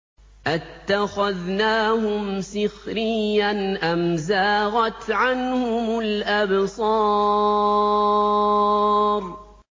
أَتَّخَذْنَاهُمْ سِخْرِيًّا أَمْ زَاغَتْ عَنْهُمُ الْأَبْصَارُ